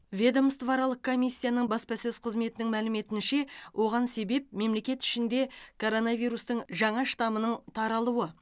ведомствоаралық комиссияның баспасөз қызметінің мәліметінше оған себеп мемлекет ішінде коронавирустың жаңа штамының таралуы